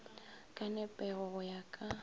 ka nepego go ya ka